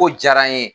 Ko diyara n ye